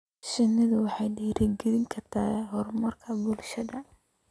Shinnidu waxay dhiirigelin kartaa horumarka bulshada.